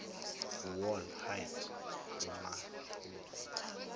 wall height umahluko